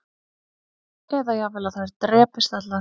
Eða jafnvel að þær drepist allar